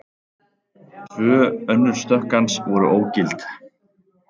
Tvö önnur stökk hans voru ógild